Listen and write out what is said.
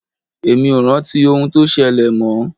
Èmi ò rántí ohun tó ṣẹlẹ̀ mọ́.